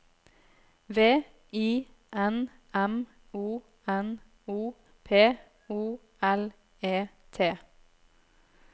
V I N M O N O P O L E T